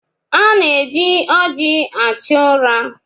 A na-eji ọjị achụ ụra.